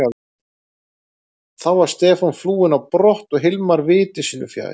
Þá var Stefán flúinn á brott og Hilmar viti sínu fjær.